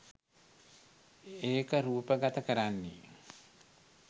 ඒක රූපගත කරන්නේ